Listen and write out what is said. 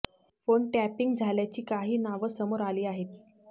phone tapping झाल्याची काही नावं समोर आली आहेत